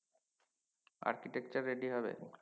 architecture ready হবে